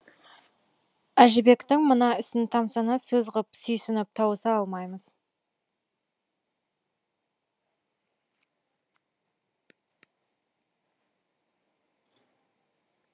әжібектің мына ісін тамсана сөз ғып сүйсініп тауыса алмаймыз